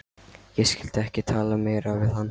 Ég skyldi ekki tala meira við hann.